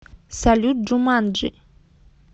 салют джуманджи